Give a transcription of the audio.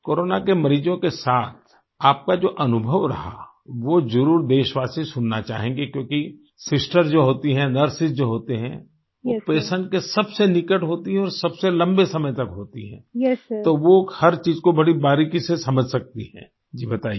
corona के मरीजों के साथ आपका जो अनुभव रहा वो जरुर देशवासी सुनना चाहेंगे क्योंकि सिस्टर जो होती है नर्सेस जो होती हैं पेशेंट के सबसे निकट होती हैं और सबसे लम्बे समय तक होती हैं तो वो हर चीज़ को बड़ी बारीकी से समझ सकती हैं जी बताइए